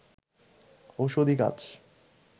ঔষধি গাছ